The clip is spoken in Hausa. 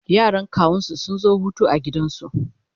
yaran kawunsu sun zo Hutu a gidansu